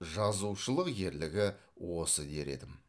жазушылық ерлігі осы дер едім